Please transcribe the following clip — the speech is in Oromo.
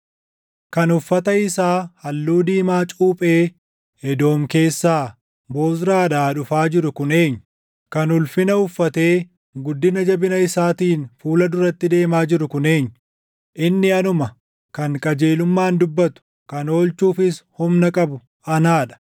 Kan uffata isaa halluu diimaa cuuphee Edoom keessaa, Bozraadhaa dhufaa jiru kun eenyu? Kan ulfina uffatee guddina jabina isaatiin fuula duratti deemaa jiru kun eenyu? “Inni anuma, kan qajeelummaan dubbatu, kan oolchuufis humna qabu anaa dha.”